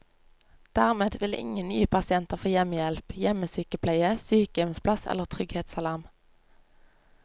Dermed vil ingen nye pasienter få hjemmehjelp, hjemmesykepleie, sykehjemsplass eller trygghetsalarm.